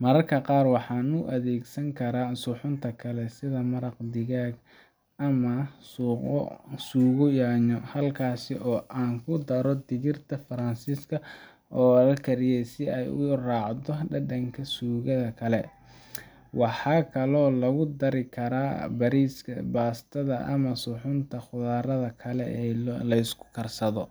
Mararka qaar waxaan u adeegsan karaa suxuunta kale, sida maraq digaag ama suugo yaanyo ah, halkaas oo aan ku daro digirta Faransiiska oo la kariyay si ay u raacdo dhadhanka suugada kale. Waxaa kaloo lagu dari karaa bariiska, baastada ama suxuunta khudradda kale oo la isku karsado.